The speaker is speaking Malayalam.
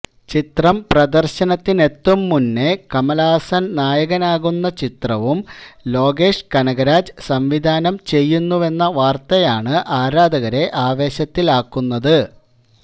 ചിത്രം പ്രദര്ശനത്തിനെത്തും മുന്നേ കമല്ഹാസൻ നായകനാകുന്ന ചിത്രവും ലോകേഷ് കനകരാജ് സംവിധാനം ചെയ്യുന്നുവെന്ന വാര്ത്തയാണ് ആരാധകരെ ആവേശത്തിലാക്കുന്നത്